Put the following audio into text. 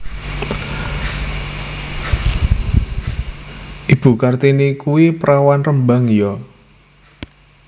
Ibu Kartini kui perawan Rembang yo?